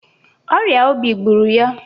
Ọrịa obi gbụrụ ya.